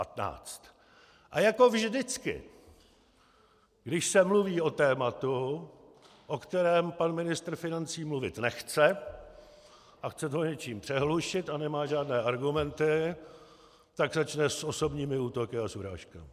A jako vždycky, když se mluví o tématu, o kterém pan ministr financí mluvit nechce, a chce to něčím přehlušit a nemá žádné argumenty, tak začne s osobními útoky a s urážkami.